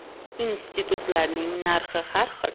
“Institutlarning narxi har xil.